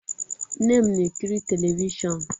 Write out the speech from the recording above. Nne m na-ekiri telivishọn.